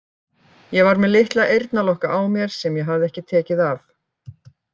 Ég var með litla eyrnalokka á mér sem ég hafði ekki tekið af.